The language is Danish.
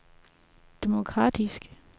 demokratisk